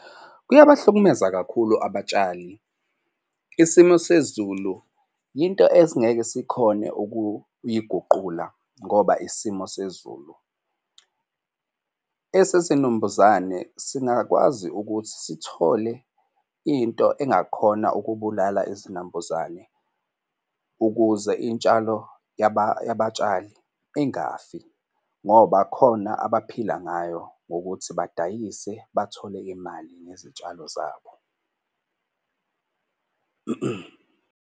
Kuyabahlukumeza kakhulu abatshali, isimo sezulu yinto esingeke sikhone ukuyiguqula ngoba isimo sezulu. Esesinumbuzane singakwazi ukuthi sithole into engakhona ukubulala izinambuzane ukuze iy'tshalo yabatshali ingafi, ngoba khona abaphila ngayo ngokuthi badayise bathole imali nezitshalo zabo.